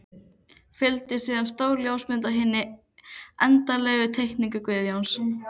Fylgdi síðan stór ljósmynd af hinni endanlegu teikningu Guðjóns.